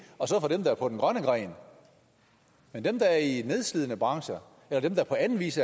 og så for dem der er på den grønne gren men dem der er i nedslidende brancher eller dem der på anden vis